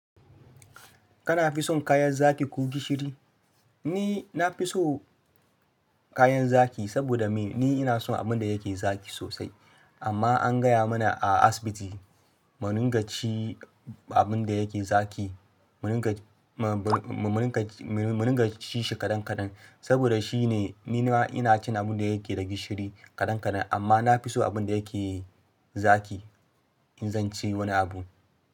Kana fi son kayan zaki ko gishiri? Ni na fi so kayan zaki saboda me ni ina son abin da yake zaki sosai. Amma an gaya mana a asibiti mu ringa ci abin da yake zaki, mu rika ci shi kadan kadan saboda shi ne. Ni ma ina cin abin da yake da gishiri kadan kadan amma na fi so abin da yake zaki in zan ci wani abu.